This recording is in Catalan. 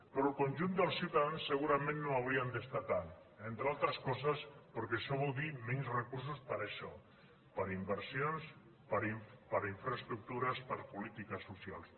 però el conjunt dels ciutadans segurament no ho haurien d’estar tant entre altres coses perquè això vol dir menys recursos per a això per a inversions per a infraestructures per a polítiques socials